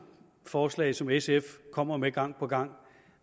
forslag som sf kommer med gang på gang